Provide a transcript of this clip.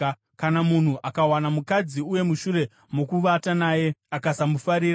Kana munhu akawana mukadzi uye mushure mokuvata naye, akasamufarira,